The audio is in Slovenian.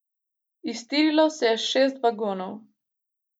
Iztirilo se je šest vagonov.